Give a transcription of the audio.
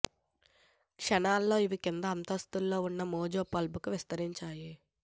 క్షణాల్లో అవి కింద అంతస్తులో ఉన్న మో జో పబ్కు విస్తరించాయి